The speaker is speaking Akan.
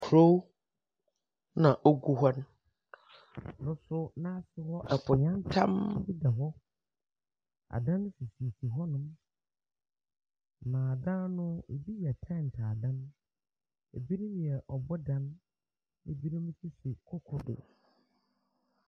Kurow na ogu hɔ no. Adan yantam da hɔnom. Adan sisi hɔnom. Adan bi sisi hɔnom na dan no bi yɛ kyɛnse adan. Ebi yɛ obodan. Ebi nso sisi koko do.